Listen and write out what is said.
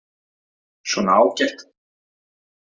Svona, ágætt.